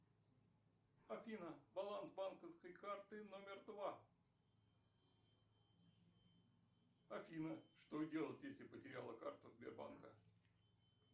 афина баланс банковской карты номер два афина что делать если потеряла карту сбербанка